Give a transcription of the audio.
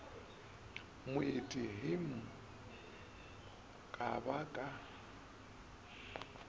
moeti hm ka ba ka